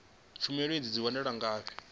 tshumelo idzi dzi wanala ngafhi